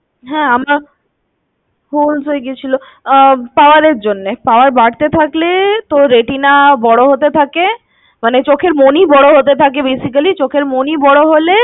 হ্যাঁ আমার হয়ে গিয়েছিল, আঃ পাওয়ার এর জন্যে। পাওয়ার বাড়তে থাকলে তোর retina বড় হতে থাকে। মানে চোখের মনি বড় হতে থাকে basically. চোখের মনি বড় হলে